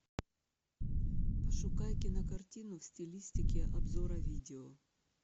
пошукай кинокартину в стилистике обзора видео